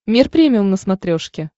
мир премиум на смотрешке